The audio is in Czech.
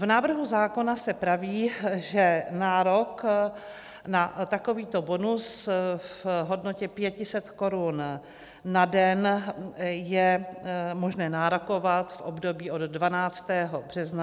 V návrhu zákona se praví, že nárok na takovýto bonus v hodnotě 500 korun na den je možné nárokovat v období od 12. března do 30. dubna.